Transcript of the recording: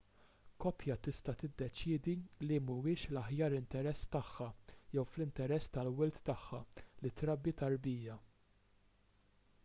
koppja tista' tiddeċiedi li mhuwiex fl-aħjar interess tagħha jew fl-interess tal-wild tagħha li trabbi tarbija